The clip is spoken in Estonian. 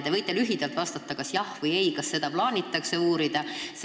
Te võite lühidalt vastata kas jah või ei, kas seda plaanitakse uurida.